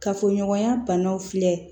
Kafoɲɔgɔnya banaw filɛ